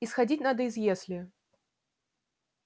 исходить надо из если